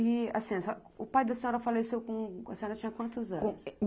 E assim, o pai da senhora faleceu com... A senhora tinha quantos anos?